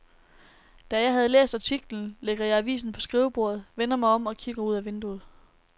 Da jeg har læst artiklen, lægger jeg avisen på skrivebordet, vender mig om og kigger ud af vinduet.